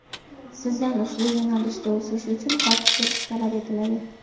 sizdan ushbu yo‘nalishda o‘sish uchun xohish bo‘lishi talab etiladi.